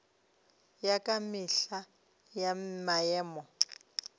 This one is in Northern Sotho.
ya ka mehla ya maemo